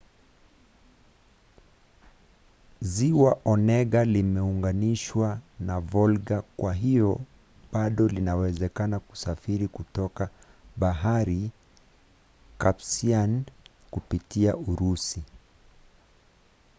ziwa onega limeunganishwa na volga kwa hivyo bado inawezekana kusafiri kutoka bahari caspian kupitia urusi